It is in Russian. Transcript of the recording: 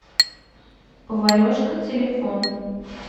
поварешка телефон